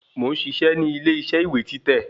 Mo ń ṣiṣẹ́ nílé ìṣe ìwé títẹ̀